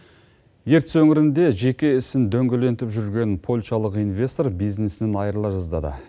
ертіс өңірінде жеке ісін дөңгелентіп жүрген польшалық инвестор бизнесінен айырыла жаздады